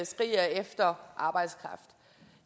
skriger efter arbejdskraft i